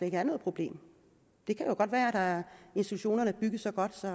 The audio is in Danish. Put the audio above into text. ikke er noget problem det kan jo godt være at institutionerne er bygget så godt at